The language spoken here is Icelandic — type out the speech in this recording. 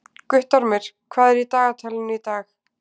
Guttormur, hvað er í dagatalinu í dag?